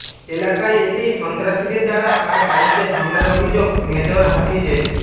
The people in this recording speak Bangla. এলাকায় এসেই সন্ত্রাসীদের দ্বারা তার বাড়ীতে হামলার অভিযোগ মেজর হাফিজের